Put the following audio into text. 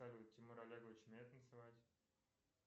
тимур олегович умеет танцевать